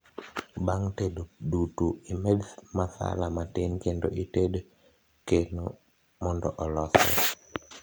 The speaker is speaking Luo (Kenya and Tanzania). bang tedo dutu imed masala matin kendo ited keno mondo olosre